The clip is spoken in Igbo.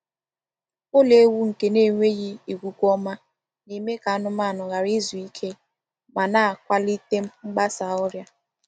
Ụlọ ewu nke n'enweghị ikuku ọma na-eme ka anụmanụ ghara izu ike ma na-akwalite mgbasa ọrịa.